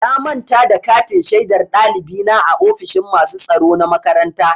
Na manta da katin shaidar ɗalibi na a ofishin masu tsaro na makaranta.